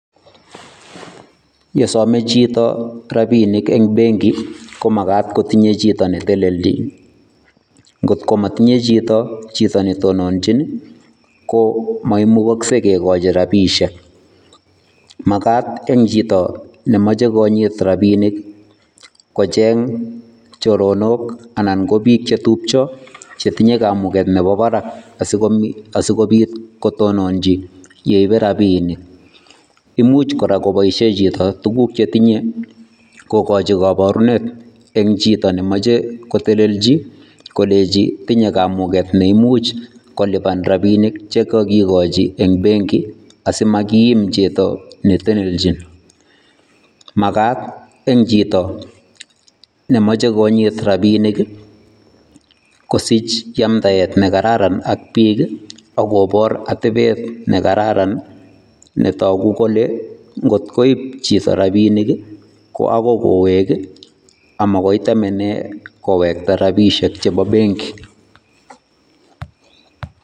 Yesome chito rabinik en benki komakat kotinye chito neteleljin ngot komotinye chito, chito netononji ko moimukokse kikochi rabishek, makaat en chito nemoche konyit rabinik kocheng choronok anan kobik chetupcho chetinye kamuket nebo barak asikobit kotonochi yeibe rabinik, imuch koboisien chito koraa tuguk chetinye kokochi koborunet en chito nemoche koteleljin kolenji tinye kamuget neimuch koliban rabinik chekokikochi en benki asimakiim chito netelenji makaat rn chito nemoche konyit rabinik kosich yamdaet nekararan ak bik akobor otebet nekararan netogu kole ngot koib chito rabinik ii ko okoi kowek amakoi kotemenen kowekta rabishek chebo benki .